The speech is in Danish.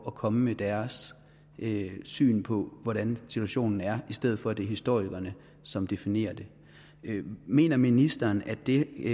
at komme med deres syn på hvordan situationen er i stedet for at det er historikerne som definerer den mener ministeren at det